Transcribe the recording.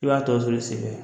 I b'a tɔ sɔrɔ i senfɛ